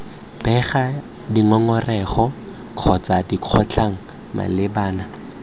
bega dingongorego kgotsa dikgotlhang malebana